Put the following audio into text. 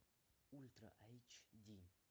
ультра айч ди